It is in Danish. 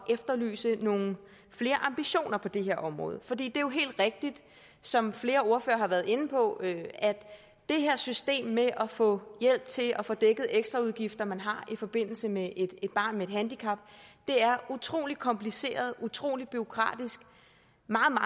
efterlyse nogle flere ambitioner på det her område for det er jo helt rigtigt som flere ordførere har været inde på nemlig at det her system med at få hjælp til at få dækket ekstraudgifter man har i forbindelse med et barn med et handicap er utrolig kompliceret utrolig bureaukratisk